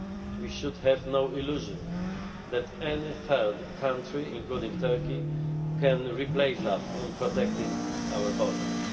We should have no illusion that any third country, including Turkey, can replace us in protecting our borders.